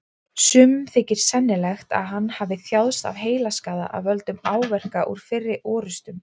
Sumum þykir sennilegt að hann hafi þjáðst af heilaskaða af völdum áverka úr fyrri orrustum.